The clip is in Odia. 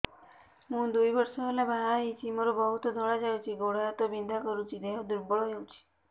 ମୁ ଦୁଇ ବର୍ଷ ହେଲା ବାହା ହେଇଛି ମୋର ବହୁତ ଧଳା ଯାଉଛି ଗୋଡ଼ ହାତ ବିନ୍ଧା କରୁଛି ଦେହ ଦୁର୍ବଳ ହଉଛି